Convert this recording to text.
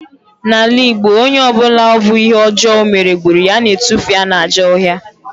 N'ala Igbo, onye ọ bụla ọ bụ ihe ọjọọ ọ mere gburu ya, a na-atufu ya n'ajọ ọhịa